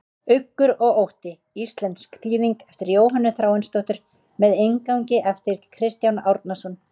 Uggur og ótti, íslensk þýðing eftir Jóhönnu Þráinsdóttur með inngangi eftir Kristján Árnason.